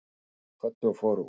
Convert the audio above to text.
Strákarnir kvöddu og fóru út.